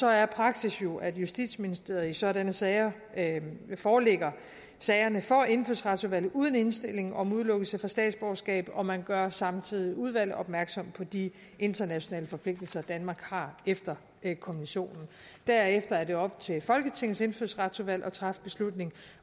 er praksis jo at justitsministeriet i sådanne sager forelægger sagerne for indfødsretsudvalget uden indstilling om udelukkelse fra statsborgerskab og man gør samtidig udvalget opmærksom på de internationale forpligtelser danmark har efter konventionen derefter er det op til folketingets indfødsretsudvalg at træffe beslutning